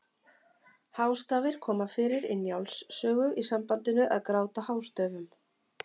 Hástafir koma fyrir í Njáls sögu í sambandinu að gráta hástöfum.